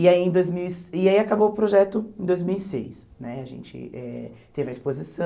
E aí em dois mil e e aí acabou o projeto em dois mil e seis né, a gente eh teve a exposição,